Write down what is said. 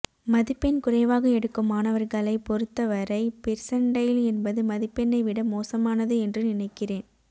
மதிப்பெண் குறைவாக எடுக்கும் மாணவர்களை பொருத்த வரை பெர்சைண்டைல் என்பது மதிப்பெண்ணை விட மோசமானது என்று நினைக்கிறேன்